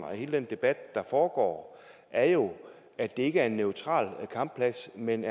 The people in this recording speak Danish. og hele den debat der foregår er jo at det ikke er en neutral kampplads men